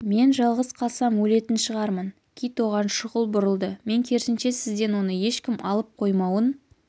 мен жалғыз қалсам өлетін шығармын кит оған шұғыл бұрылды мен керісінше сізден оны ешкім алып қоймауын